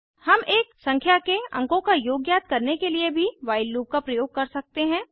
हम एक संख्या के अंकों का योग ज्ञात करने के लिए भी व्हाइल लूप का प्रयोग कर सकते हैं